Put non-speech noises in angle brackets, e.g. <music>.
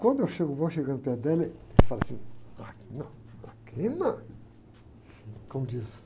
Quando eu chego, vou chegando perto dela, ele fala assim... <unintelligible> não, aqui não. Como diz?